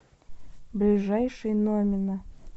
ближайший номина